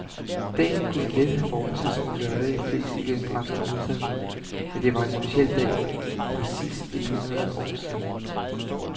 Dagen kunne let have formet sig som lørdage flest i den franske hovedstad, men det var en speciel dag for præcis et hundrede år siden.